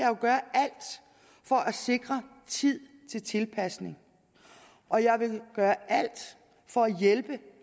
jo gøre alt for at sikre tid til tilpasning og jeg vil gøre alt for at hjælpe